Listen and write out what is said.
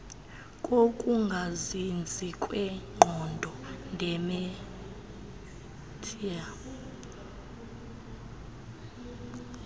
kokungazinzi kwengqondo idementia